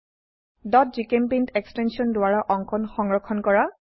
gchempaint extension দ্বাৰা অঙ্কন সংৰক্ষণ কৰা